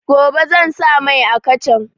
Gobe zan sa mai a kacan